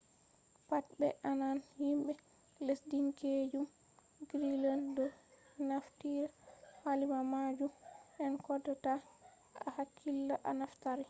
pat be ananan himbe lesdinkeejum greenland doo naftira kalima majum an kodoo ta a hakkila a naftira